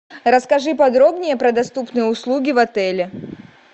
расскажи подробнее про доступные услуги в отеле